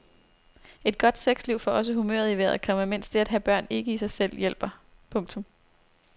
Et godt sexliv får også humøret i vejret, komma mens det at have børn ikke i sig selv hjælper. punktum